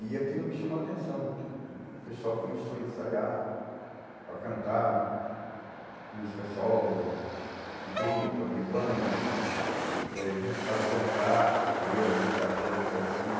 E aquilo me chamou a atenção, porque o pessoal começou a ensaiar para cantar né, música solo, de tuba, de banda, eh gente para dançar, capoeira, dançar axé, dançar de tudo.